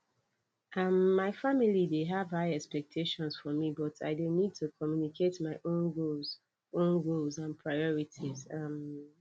um my family dey have high expectations for me but i dey need to communicate my own goals own goals and priorities um